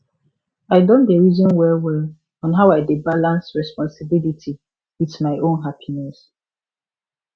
i don dey reason well well on how i dey balance responsibility with my own happiness